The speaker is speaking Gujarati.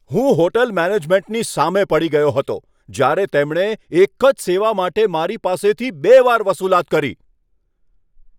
હું હોટલ મેનેજમેન્ટની સામે પડી ગયો હતો જ્યારે તેમણે એક જ સેવા માટે મારી પાસેથી બે વાર વસુલાત કરી.